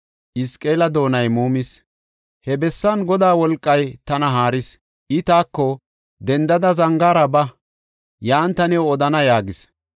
He bessan Godaa wolqay tana haaris; I taako, “Dendada zangaara ba; yan ta new odana” yaagis.